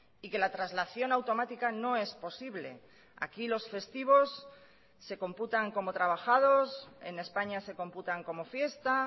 y que la traslación automática no es posible aquí los festivos se computan como trabajados en españa se computan como fiesta